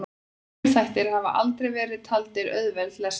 Frumþættir hafa aldrei verið taldir auðveld lesning.